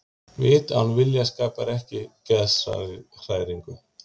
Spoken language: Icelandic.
Vit án vilja skapar ekki geðshræringu.